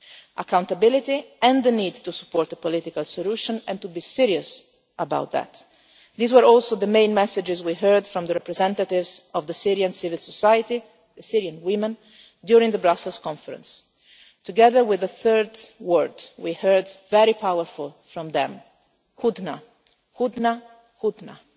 war. Accountability and the need to support a political solution and to be serious about that these were also the main messages we heard from the representatives of the Syrian civil society Syrian women during the Brussels Conference. Together with the third word we heard a very powerful word from them hudna, hudna,